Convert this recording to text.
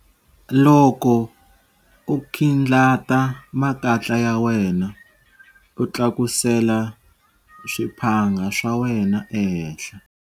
Loko u khindlata makatla ya wena, u tlakusela swiphanga swa wena ehenhla.